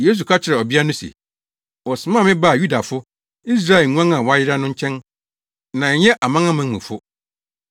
Yesu ka kyerɛɛ ɔbea no se, “Wɔsomaa me baa Yudafo, Israel nguan a wɔayera no nkyɛn na ɛnyɛ amanamanmufo.”